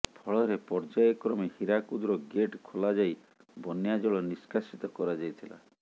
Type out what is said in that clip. ଫଳରେ ପର୍ଯାୟ କ୍ରମେ ହୀରାକୁଦର ଗେଟ୍ ଖୋଲାଯାଇ ବନ୍ୟା ଜଳ ନିଷ୍କାସିତ କରାଯାଇଥିଲା